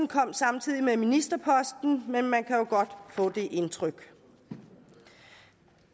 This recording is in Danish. kom samtidig med ministerposten men man kan jo godt få det indtryk